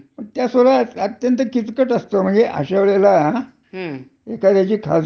म्हणजे दुसरीकडे कुठ त्यानी नोकरी शोधणे, हा. एवढाच त्याच्या पुढे मार्ग राहतो.